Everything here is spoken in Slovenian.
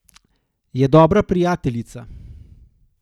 Je dobra prijateljica.